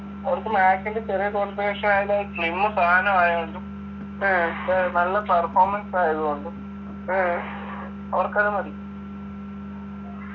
അവർക്ക് MAC ൻ്റെ ചെറിയ configuration ആയാലും slim സാധനം ആയാലും നല്ല performance ആയതു കൊണ്ടും അവർക്കത് മതി